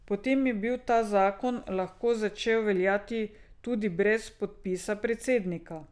Potem bi ta zakon lahko začel veljati tudi brez podpisa predsednika.